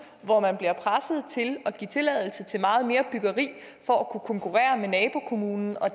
hvor man bliver presset til at give tilladelse til meget mere byggeri for at kunne konkurrere med nabokommunen og